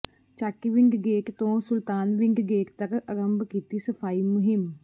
Chatiwind gate ਤੋਂ Sultanwind gate ਤੱਕ ਅਰੰਭ ਕੀਤੀ ਸਫਾਈ ਮੁਹਿੰਮ